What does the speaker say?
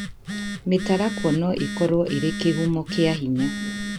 Mĩtarakwa no ĩkorũo ĩrĩ kĩhumo kĩa hinya.